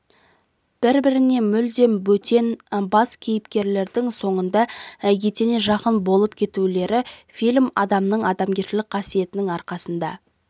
бір-біріне мүлде бөтен бас кейіпкерлердің соңында етене жақын болып кетулері фильм адамның адамгершілік қасиеттерінің арқасында